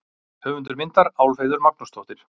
Höfundur myndar: Álfheiður Magnúsdóttir.